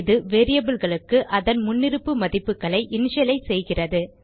இது variableகளுக்கு அதன் முன்னிருப்பு மதிப்புகளை இனிஷியலைஸ் செய்கிறது